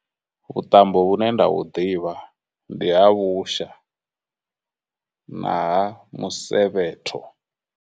vhuṱambo vhune nda vhu ḓivha, ndi ha vhusha na ha musevhetho.